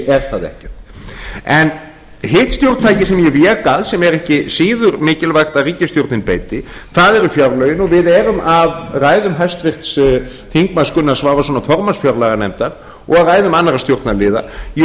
er það ekkert hitt stjórntækið sem ég vék að sem er ekki síður mikilvægt að ríkisstjórnin beiti eru fjárlögin og við erum af ræðum háttvirtra þingmanna gunnars svavarssonar formanns fjárlaganefndar og af ræðum annarra stjórnarliða í